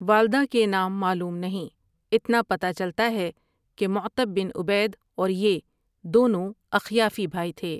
والدہ کے نام معلوم نہیں، اتنا پتہ چلتا ہے کہ معتب بن عبید اور یہ دونوں اخیافی بھائی تھے ۔